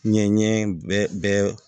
Ɲɛɲɛ bɛɛ